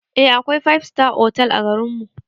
Eh akwai five star otal a garin nan